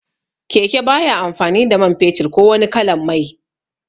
Keke baya amfani da man fetur ko wani kalan mai